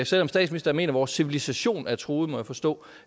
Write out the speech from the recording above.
selv om statsministeren mener at vores civilisation er truet må jeg forstå